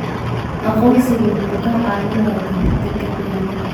Aqoonsigu wuxuu kaa caawinayaa ka hortagga khiyaanada.